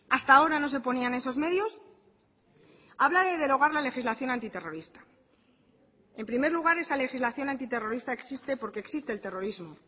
hasta ahora no se ponían esos medios habla de derogar la legislación antiterrorista en primer lugar esa legislación antiterrorista existe porque existe el terrorismo